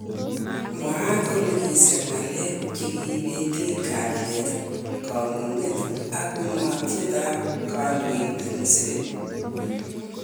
Mwaat kole kisir ng'alek chegi ibeten kalyet, kamung'et ak ungatet ab kondoindet Museveni.